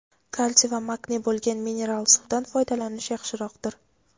kalsiy va magniy bo‘lgan mineral suvdan foydalanish yaxshiroqdir.